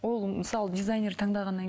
ол мысалы дизайнер таңдағаннан